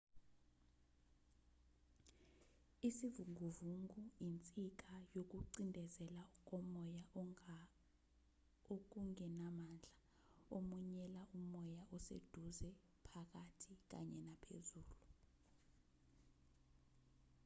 isivunguvungu insika yokucindezela komoya okungenamandla emunyela umoya oseduze phakathi kanye naphezulu